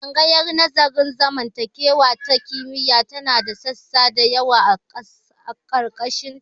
Tsangayar nazarin zamantakewa ta kimiyya tana da sashi dayawa a ƙarƙashin ta.